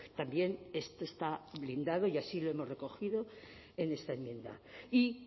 también esto está blindado y así lo hemos recogido en esta enmienda y